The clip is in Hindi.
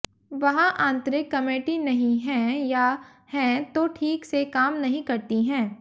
वहां आंतरिक कमेटी नहीं हैं या हैं तो ठीक से काम नहीं करती हैं